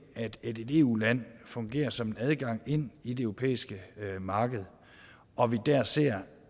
at et eu land fungerer som en adgang ind i det europæiske marked og vi der ser